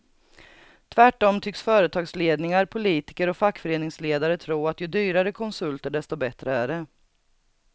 Tvärtom tycks företagsledningar, politiker och fackföreningsledare tro att ju dyrare konsulter desto bättre är det.